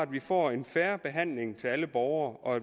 vi får en fair behandling af alle borgere og